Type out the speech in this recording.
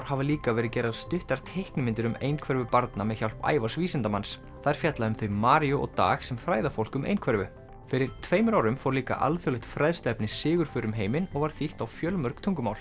hafa líka verið gerðar stuttar teiknimyndir um einhverfu barna með hjálp Ævars vísindamanns þær fjalla um þau Maríu og Dag sem fræða fólk um einhverfu fyrir tveimur árum fór líka alþjóðlegt fræðsluefni sigurför um heiminn og var þýtt á fjölmörg tungumál